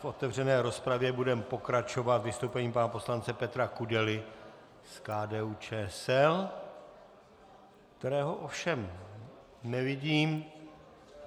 V otevřené rozpravě budeme pokračovat vystoupením pana poslance Petra Kudely z KDU-ČSL - kterého ovšem nevidím.